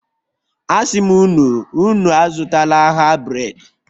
asim unu, Unu azutala ha bred.